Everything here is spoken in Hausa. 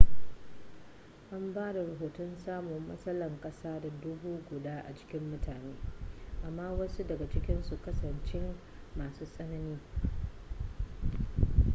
an ba da rahoton samun matsalan kasa da dubu guda a jikin mutane amma wasu daga ciki sun kasance masu tsanani